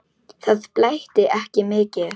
Það blæddi ekki mikið.